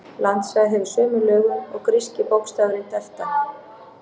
Landsvæðið hefur sömu lögun og gríski bókstafurinn delta.